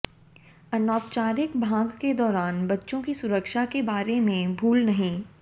अनौपचारिक भाग के दौरान बच्चों की सुरक्षा के बारे में भूल नहीं